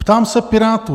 Ptám se Pirátů: